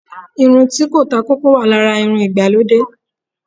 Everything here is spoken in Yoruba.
irun ti ko ta koko, wa Lara awon irún ìgbalòdé.